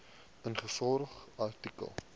ingevolge artikel